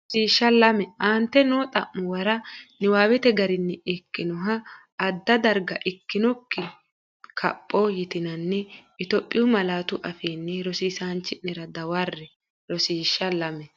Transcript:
Rosiishsh Lame Aante noo xa’muwara niwaawete garinni ikkinoha adda gara ikkinokki- kapho yitinanni Itophiyu malaatu afiinni rosiisaanchi’nera dawarre Rosiishsh Lame.